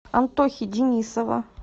антохи денисова